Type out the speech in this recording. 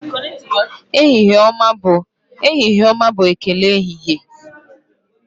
ehihie ọma' bụ ekele ehihie